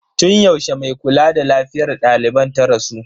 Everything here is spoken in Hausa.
Tun yaushe mai kula da lafiyar daliban ta rasu?